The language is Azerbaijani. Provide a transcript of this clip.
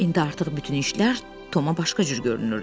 İndi artıq bütün işlər Toma başqa cür görünürdü.